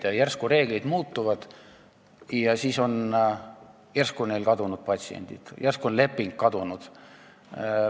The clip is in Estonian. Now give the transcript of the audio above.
Nüüd järsku reeglid muutuvad, järsku on neil patsiendid kadunud ja järsku on leping kadunud.